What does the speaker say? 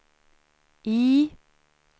I